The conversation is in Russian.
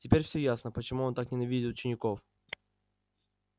теперь всё ясно почему он так ненавидит учеников